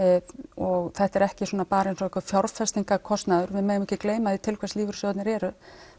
og þetta er ekki bara eins og einhver fjárfestingarkostnaður því við megum ekki gleyma því til hvers lífeyrissjóðirnir eru